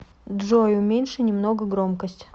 джой уменьши немного громкость